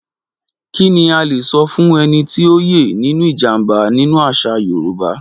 Kí ni a lè sọ fún ẹni tí ó yè nínú ìjàm̀bá nínú àṣà Yorùbá?